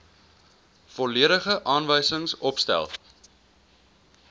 volledige aanwysings opgestel